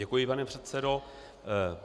Děkuji, pane předsedo.